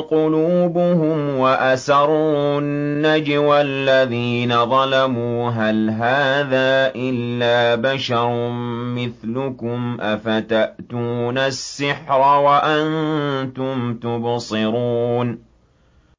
قُلُوبُهُمْ ۗ وَأَسَرُّوا النَّجْوَى الَّذِينَ ظَلَمُوا هَلْ هَٰذَا إِلَّا بَشَرٌ مِّثْلُكُمْ ۖ أَفَتَأْتُونَ السِّحْرَ وَأَنتُمْ تُبْصِرُونَ